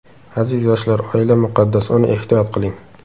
Aziz yoshlar, oila muqaddas, uni ehtiyot qiling.